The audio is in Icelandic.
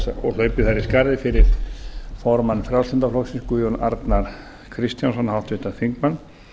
og hlaupið þar í skarðið fyrir formann frjálslynda flokksins guðjón arnar kristjánsson háttvirtan þingmann